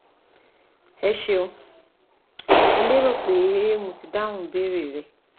Eṣeun, mo lérò pé mo ti dáhùn ìbéèrè rẹ